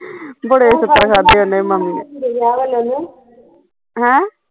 ਬੜੇ ਛਿੱਤਰ ਖਾਧੇ ਉਹਨੇ ਹੈਂ